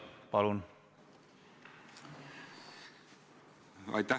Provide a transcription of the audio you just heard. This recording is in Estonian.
Palun!